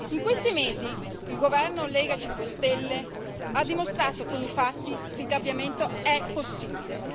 In questi mesi, il governo Lega e 5 stelle ha dimostrato con i fatti che il cambiamento è possibile.